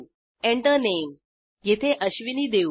Enter Name येथे अश्विनी देऊ